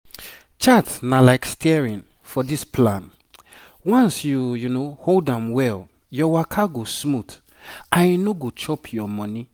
chart na like steering for this plan once you hold am well your waka go smooth and e no go chop your money.